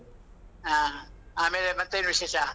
ಹಾ, ಆಮೇಲೆ ಮತ್ತೇನ್ ವಿಶೇಷ?